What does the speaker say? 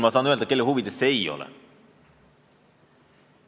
Ma saan öelda, kelle huvides see ei ole.